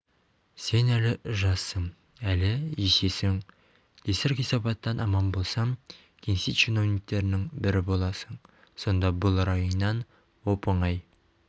сен әлі жассың әлі есесің кесір-кесепаттан аман болсаң кеңсе чиновниктерінің бірі боласың сонда бұл райыңнан оп-оңай